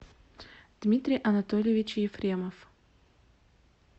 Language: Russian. дмитрий анатольевич ефремов